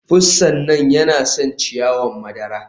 Pussan nan yana son ciyawa madara.